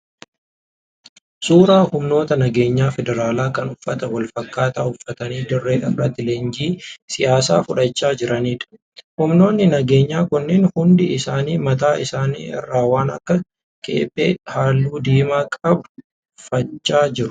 Suuraa humnoota nageenyaa federaalaa kan uffata wal fakkaataa uffatanii dirree irratti leenjii siyaasaa fudhachaa jiraniidha. Humnoonni nageenyaa kunneen hundi isaanii mataa isaanii irraa waan akka kephee halluu diimaa qabu uffachaa jiru.